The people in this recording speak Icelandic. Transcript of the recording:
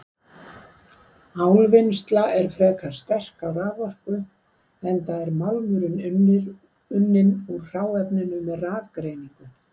Álvinnsla er frek á raforku enda er málmurinn unninn úr hráefninu með rafgreiningu.